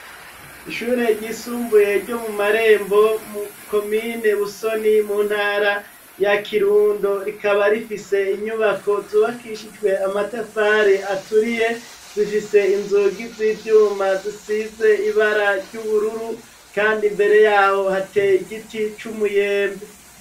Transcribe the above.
Ishure ryisumbuye ryo mu Marembo mu komine Busoni mu ntara ya Kirundo, rikaba rifise inyubako zubakishijwe amatafari aturiye, zifise inzugi z'ivyuma zisize ibara ry'ubururu kandi mbere yaho hateye igiti c'umuyembe.